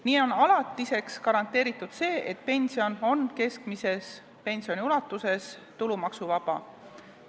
Nii on alatiseks garanteeritud see, et pension on keskmise pensioni ulatuses tulumaksuvaba.